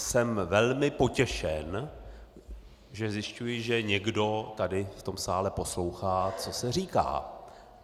Jsem velmi potěšen, že zjišťuji, že někdo tady v tom sále poslouchá, co se říká.